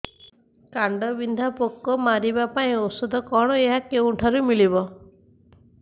କାଣ୍ଡବିନ୍ଧା ପୋକ ମାରିବା ପାଇଁ ଔଷଧ କଣ ଓ ଏହା କେଉଁଠାରୁ ମିଳିବ